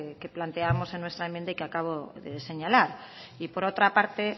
que planteábamos en nuestra enmienda y que acabo de señalar y por otra parte